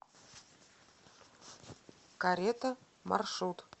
карета маршрут